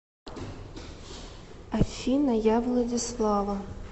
афина я владислава